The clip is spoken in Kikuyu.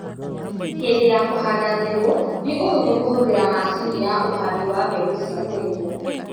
Hĩndĩ ya kũhanda mbegũ, ni ũhũthũ kũhũthĩra macini ya uhandi wa mbegũ cia kwenjwo